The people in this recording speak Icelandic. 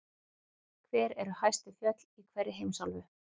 Hver eru hæstu fjöll í hverri heimsálfu?